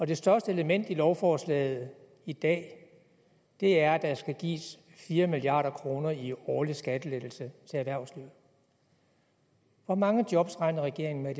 det største element i lovforslaget i dag er at der skal gives fire milliard kroner i årlig skattelettelse til erhvervslivet hvor mange job regner regeringen med